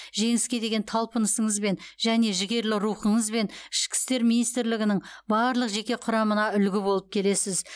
жеңіске деген талпынысыңызбен және жігерлі рухыңызбен ішкі істер министрлігінің барлық жеке құрамына үлгі болып келесіз